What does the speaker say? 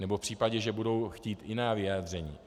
Nebo v případě, že budou chtít jiná vyjádření.